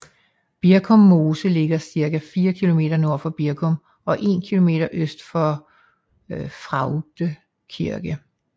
Birkum Mose ligger cirka 4 kilometer nord for Birkum og 1 kilometer øst for Fraugde Kirke